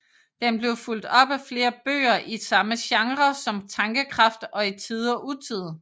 Den blev fulgt op af flere bøger i samme genre som Tankekraft og I Tide og Utide